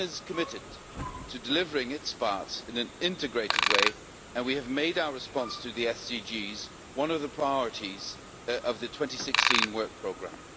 Commission is committed to delivering its part in an integrated way, and we have made our response to the SDGs one of the priorities of the 2016 work programme.